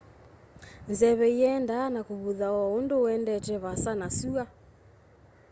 nzeve iendeeaa na kuvutha o undu uendete vaasa na sua